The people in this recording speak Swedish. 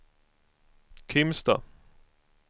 Kimstad